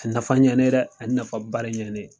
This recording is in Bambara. A ye nafa ɲɛ ne ye dɛ a ye nafaba de ɲɛ ne ye.